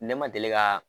Ne ma deli ka